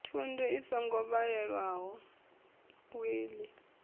thundu i songo walelwaho wiḽi